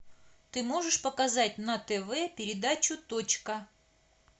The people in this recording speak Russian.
ты можешь показать на тв передачу точка